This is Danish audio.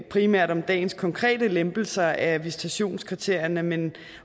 primært om dagens konkrete lempelser af visitationskriterierne men